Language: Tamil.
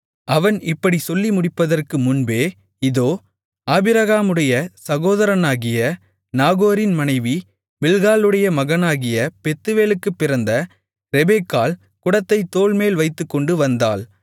அவன் இப்படிச் சொல்லி முடிப்பதற்கு முன்பே இதோ ஆபிரகாமுடைய சகோதரனாகிய நாகோரின் மனைவி மில்க்காளுடைய மகனாகிய பெத்துவேலுக்குப் பிறந்த ரெபெக்காள் குடத்தைத் தோள்மேல் வைத்துக்கொண்டு வந்தாள்